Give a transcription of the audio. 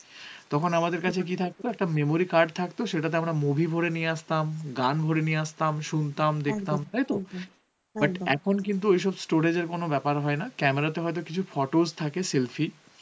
তখন আমাদের কাছে কি থাকতো একটা memory card থাকতো সেটাতে আমরা movie ভরে নিয়ে আসতাম গান ভরে নিয়ে আসতাম দেখতাম শুনতাম তাইতো? এখন কিন্তু ঐরকম স্টোরেজ এর কোনো হয় না ক্যামেরা তে হয়ত কিছু photos থাকে selfie